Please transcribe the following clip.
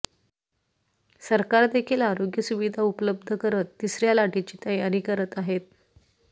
सरकार देखील आरोग्य सुविधा उपलब्ध करत तिसऱ्या लाटेची तयारी करत आहे